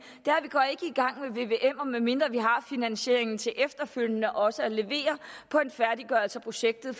at vvmer medmindre vi har finansieringen til efterfølgende også at levere en færdiggørelse af projektet